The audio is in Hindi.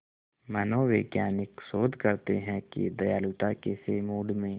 मनोवैज्ञानिक शोध करते हैं कि दयालुता कैसे मूड में